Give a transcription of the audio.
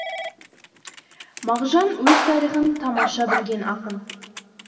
мағжан өз тарихын тамаша білген ақын